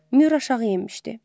Mür aşağı enmişdi.